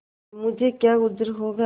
मुझे क्या उज्र होगा